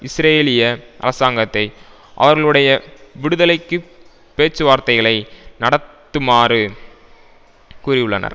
இஸ்ரேலிய அரசாங்கத்தை அவர்களுடைய விடுதலைக்கு பேச்சுவார்த்தைகளை நடத்து மாறு கூறியுள்ளனர்